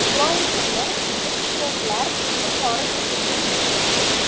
Loyihani ekspertlar yuqori beshlikka kiritdi.